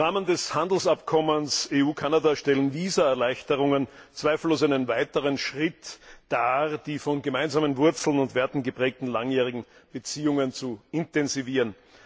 Im Rahmen des Handelsabkommens EU Kanada stellen Visaerleichterungen zweifellos einen weiteren Schritt dar, die von gemeinsamen Wurzeln und Werten geprägten langjährigen Beziehungen zu intensivieren.